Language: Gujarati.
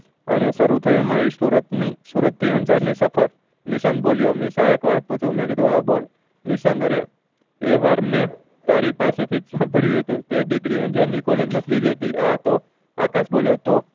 અને શરુ થયી એમાં એ સુરત ની સુરત થી અંજાર ની સફર નિશાંત બોલ્યો નિશા એક વાત પુછુ મેં કીધું હા બોલ નિશાંત અરે એ વાર મેં તારી પાસે થી સમ્બ્ડ્યું હતું તે દીકરી અંજાર ની કોલેજ માં હતી હા તો આકાશ બોલ્યો તો